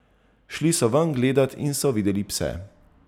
Šli so ven gledat in so videli pse.